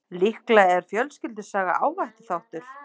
Líklega er fjölskyldusaga áhættuþáttur.